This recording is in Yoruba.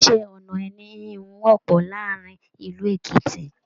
Iṣẹ-ọnà ẹní ìhun wọpọ láàrin ìlú Èkìtì.